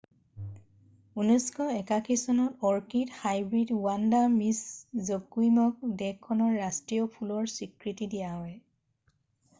1981 চনত orchid hybrid Vanda Miss জকুইমক দেশখনৰ ৰাষ্ট্ৰীয় ফুলৰ স্বীকৃতি দিয়া হয়